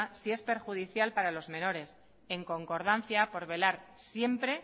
si es perjudicial para los menores en concordancia por velar siempre